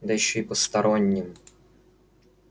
да ещё и постороннем